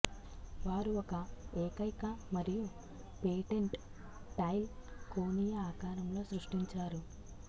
వారు ఒక ఏకైక మరియు పేటెంట్ టైల్ కోణీయ ఆకారంలో సృష్టించారు